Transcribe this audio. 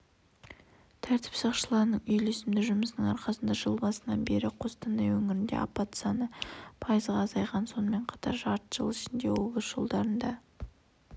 тәртіп сақшыларының үйлесімді жұмысының арқасында жыл басынан бері қостанай өңірінде апат саны пайызға азайған сонымен қатар жарты жыл ішінде облыс жолдарында